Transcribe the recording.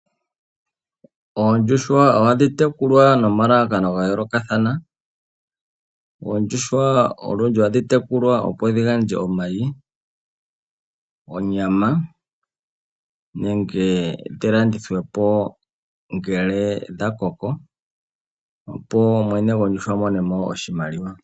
Oondjuhwa ohadhi tekulwa nomalalakano ga yoolokathana. Oondjuhwa olundji ohadhi tekulwa opo dhi gandje omayi, onyama, nenge dhi landithwepo ngele dha koko, opo mwene gondjuhwa amone mo iimaliwa.